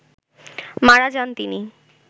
মারা যান তিনি